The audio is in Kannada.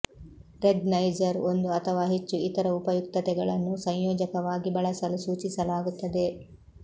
ರೆಗ್ ನೈಜರ್ ಒಂದು ಅಥವಾ ಹೆಚ್ಚು ಇತರ ಉಪಯುಕ್ತತೆಗಳನ್ನು ಸಂಯೋಜಕವಾಗಿ ಬಳಸಲು ಸೂಚಿಸಲಾಗುತ್ತದೆ